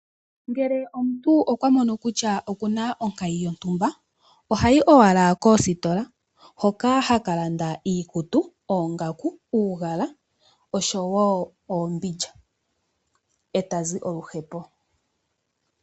Uuna omuntu amono kutya oku na onkayi yontumba ohayi owala koositola hoka haka landa iikutu, oongaku, uugala oshowo oombindja eta zi oluhepo.